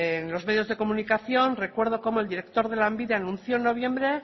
en los medios de comunicación recuerdo como el director de lanbide anunció en noviembre